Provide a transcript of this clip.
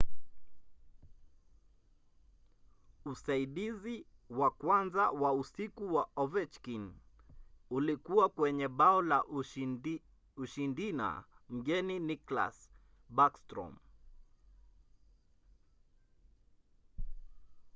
usaidizi wa kwanza wa usiku wa ovechkin ulikuwa kwenye bao la ushindina mgeni nicklas backstrom;